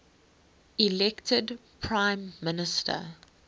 elected prime minister